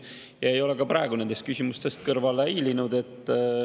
Ma ei ole ka praegu küsimustest kõrvale hiilinud.